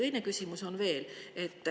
Teine küsimus on veel.